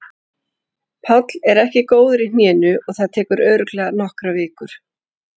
Páll er ekki góður í hnénu og það tekur örugglega nokkrar vikur.